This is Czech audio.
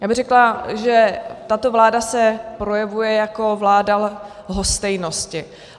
Já bych řekla, že tato vláda se projevuje jako vláda lhostejnosti.